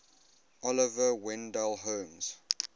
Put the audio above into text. oliver wendell holmes